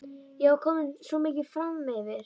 Ég var komin svo mikið framyfir.